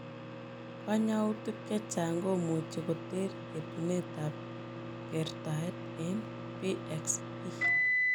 Kanyautik chechang komuchii koteer etuneet ap kertaet eng PXE.